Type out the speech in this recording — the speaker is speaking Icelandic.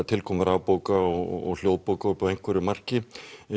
tilkomu rafbóka og hljóðbóka að einhverju marki